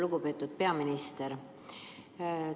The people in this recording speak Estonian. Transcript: Lugupeetud peaminister!